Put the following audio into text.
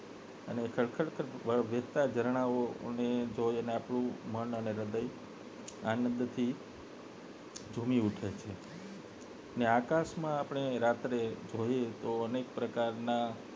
અને ખડખડ વહેતાં ઝરણાં વહેતાં જોઈ ને આપણું મન અને હૃદય આનંદ થી ઝૂમી ઉઠે છે અને આકાશ માં આપને રાત્રે જોઈ તો અનેક પ્રકારના